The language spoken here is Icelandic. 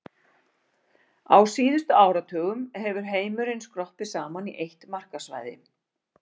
Á síðustu áratugum hefur heimurinn skroppið saman í eitt markaðssvæði.